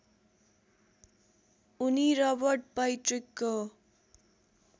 उनी रबर्ट पैट्रिकको